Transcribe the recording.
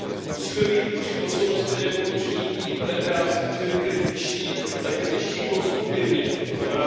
Musíme být vůči Kosovu stejně jako vůči jiným kandidátským zemím kritičtí, ale kritičtí konstruktivně, tzn.